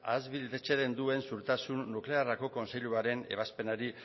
ahalbidetzen duen segurtasun nuklearreko kontseiluaren ebazpenari